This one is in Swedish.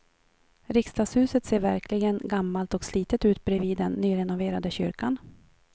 Riksdagshuset ser verkligen gammalt och slitet ut bredvid den nyrenoverade kyrkan.